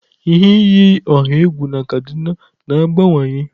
Ihe iyi ọha egwu na kaduna na-abawanye.